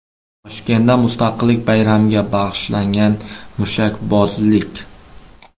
Toshkentda Mustaqillik bayramiga bag‘ishlangan mushakbozlik.